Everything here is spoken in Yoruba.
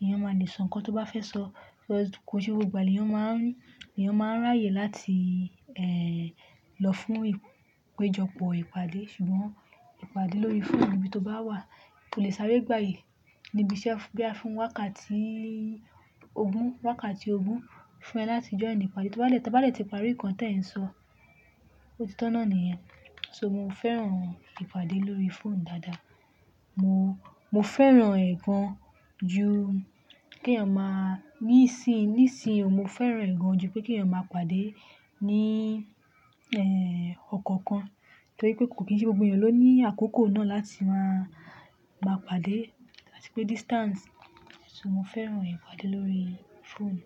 èèyàn máa le sọ nǹkan tó bá fẹ́ sọ. Because kò ń ṣe gbogbo ìgbà ni èyàn máa ń ráyè láti lọ fún ìpéjọpọ̀ ìpàdé, ṣùgbọ́n ìpàdé lórí fóònù níbi tó báwà ó lè sáré gbàyè níbi iṣẹ́ bóyá fún wákàtí ogún, wákàtí ogún fún ẹ láti join ìpàdé. Tí wọ́n bá lẹ̀, tí wọ́n bá lẹ̀ ti parí nǹkan tí ẹ̀ ń sọ, ó ti tọ̀nà nìyẹn. So, mo fẹ́ràn ìpàdé lórí fóònù dáadáa. Mo, mo fẹ́ràn ẹ̀ gan ju kí èèyàn máa, nísìí, nísìí o, mo fẹ́ràn ẹ̀ gan ju pé kí èèyàn máa pàdé ní, ẹ́, ọkàn kan. Torípé kò ń ṣe gbogbo èyàn ló ní àkókò láti má pàdé àti pé distance, so mo fẹ́ràn ìpàdé lórí fóònù.